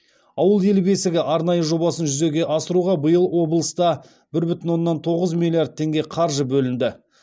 ауыл ел бесігі арнайы жобасын жүзеге асыруға биыл облыста бір бүтін оннан тоғыз миллиард теңге қаржы бөлінді